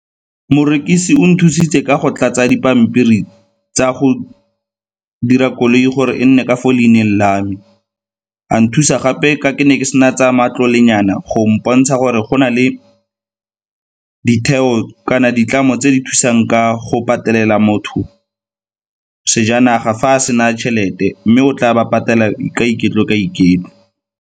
Morekisi o nthusitse ka go tlatsa dipampiri tsa go dira koloi gore e nne ka fo leineng la me, a nthusa gape ka ke ne ke sena tsa matlole nyana go mpontsha gore go na le ditheo kana ditlamo tse di thusang ka go patelela motho sejanaga fa a sena tšhelete mme o tla ba patela ka iketlo, ka iketlo.